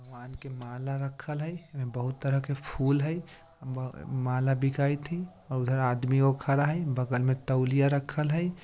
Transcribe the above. भगवान के माला रखल हेय एमे बहुत तरह के फूल हेय म माला बिकाइत ही अ उधर आदमीयो खड़ा हेय बगल मे तोलिया रखल हेय।